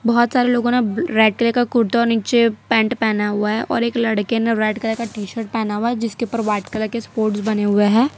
बहुत सारे लोगों ने रेड कलर का कुर्ता और नीचे पेंट पहना हुआ है और एक लड़के ने रेड कलर का टी शर्ट पहना हुआ है जिसके ऊपर व्हाइट कलर के बने हुए हैं।